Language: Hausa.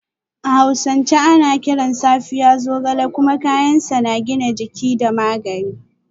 A hausance ana kiran Safiya Zogale kuma kayan sa na gina jiki da magani